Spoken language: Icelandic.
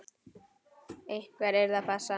Einhver yrði að passa hann.